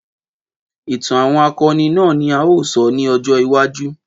Ìtàn àwọn akọni náà ni a ó sọ ní ọjọ́ iwájú.